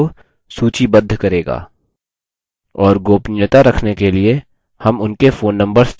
और गोपनीयता रखने के लिए हम उनके phone numbers छोड़ सकते हैं